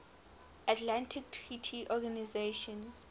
atlantic treaty organisation